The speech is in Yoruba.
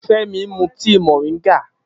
Femi mú tíì moringa